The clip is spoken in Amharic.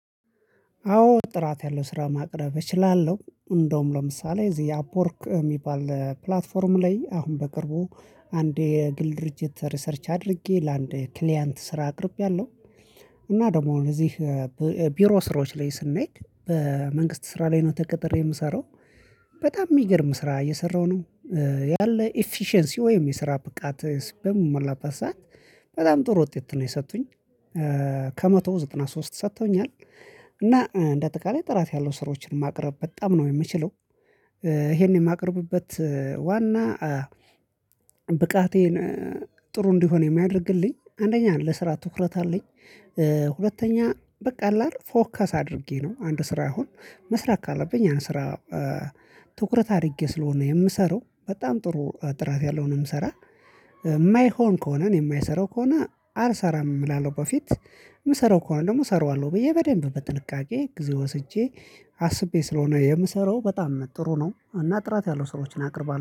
አዎ ጥራት ያለው ስራ ማቅረብ እችላለሁ እንደውም ለምሳሌ እዚህ አፕወርክ የሚባል ፕላትፎርም ላይ አሁን በቅርቡ አንድ የግል ድርጅት ሪሰርች አድርጌ ለአንድ ክሊያንት ስራ አቅርቤያለሁ። እና ደግሞ እነዚህ ቢሮ ስራዎች ላይ ስናይ በመንግስት ስራ ላይ ነው ተቀጥሬ የምሰራው። በጣም የሚገርም ስራ እየሰራሁ ነው። ያለ ኢፊሸንሲ ወይም የስራ ብቃት በምሞላበት ሰዓት በጣም ጥሩ ውጤት ነው የሰጡኝ። ከመቶ ዘጠና ሶስት ሰጥተውኛል። እና እንደ አጠቃላይ ጥራት ያለው ስራዎችን ማቅረብ በጣም ነው የምችለው። ይሄንን የማቅርብበት ዋና ብቃቴን ጥሩ እንዲሆን የሚያደርግልኝ አንደኛ ለስራ ትኩረት አለኝ። ሁለተኛ በቃ አለአይደል ፎከስ አድርጌ ነው አንድ ስራ አሁን መስራት ካለብኝ ያን ስራ። ትኩረት አድርጌ ስለሆነ የምሰራው በጣም ጥሩ ጥራት ያለውን የምሰራ። የማይሆን ከሆነ እኔ የማልሰራው ከሆነ አልሰራም እላለሁ። በፊት የምሰራው ከሆነ ደግሞ እሰራዋለሁ ብዬ በደንብ በጥንቃቄ ጊዜ ወስጄ አስቤ ስለሆነ የምሰራው በጣም ጥሩ ነው። እና ጥራት ያለው ስራዎችን አቅርባለሁ